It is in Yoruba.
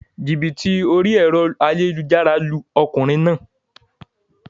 Jìbìtì orí èro ayélujára lu okùnrin naa